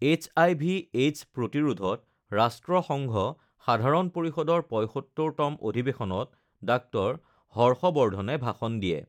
HIV AIDS প্ৰতিৰোধত ৰাষ্ট্ৰসংঘ সাধাৰণ পৰিষদৰ ৭৫তম অধিবেশনত ডাঃ হৰ্ষ বৰ্ধনে ভাষণ দিয়ে